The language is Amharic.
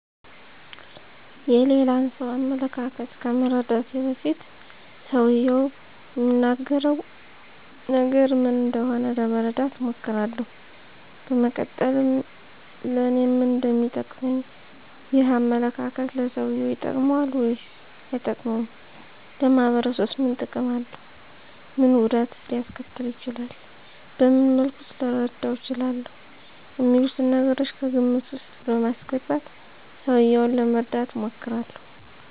የሌላን ሰው አመለካከት ከመረዳቴ በፊት ሰውየው እሚናገረው ነገር ምን እንደሆነ ለመረዳት እሞክራለሁ ከዛ በመቀጠልም ለኔ ምን እንደሚጠቅመኝ፣ ይህ አመለካከት ለሰውየው ይጠቅመዋል ወይስ አይጠቅመውም፣ ለማህበረሰቡስ ምን ጥቅም አለው፣ ምን ጉዳትስ ሊያስከትል ይችላል፣ በምን መልኩስ ልረዳው እችላለሁ፣ አሚሉትን ነገሮች ከግምት ውስጥ በማስገባት ሰውየውን ለመርዳት እሞክራለሁ።